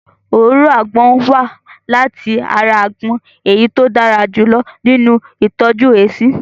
Òróró àgbon wá láti ara àgbon èyí tí ó dára jù lọ nínu ìtọ́jú èéṣí